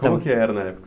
Como que era na época?